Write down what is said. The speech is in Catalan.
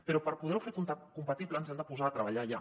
però per poder·ho fer compatible ens hem de posar a treballar ja